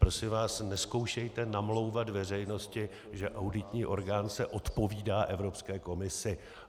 Prosím vás, nezkoušejte namlouvat veřejnosti, že auditní orgán se odpovídá Evropské komisi.